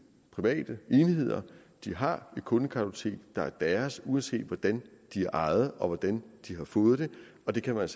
private enheder de har et kundekartotek der er deres uanset hvordan de er ejet og hvordan de har fået det og det kan man